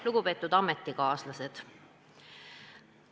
Lugupeetud ametikaaslased!